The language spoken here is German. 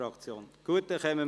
Das ist der Fall.